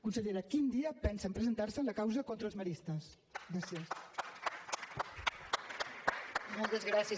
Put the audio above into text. consellera quin dia pensen presentar se en la causa contra els maristes gràcies